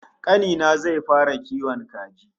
Kani na zai fara kiwon kaji